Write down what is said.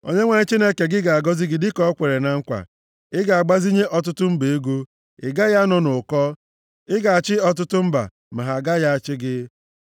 Onyenwe anyị Chineke gị ga-agọzi gị dịka o kwere na nkwa. Ị ga-agbazinye ọtụtụ mba ego, ị gaghị anọ nʼụkọ! Ị ga-achị ọtụtụ mba, ma ha agaghị achị gị.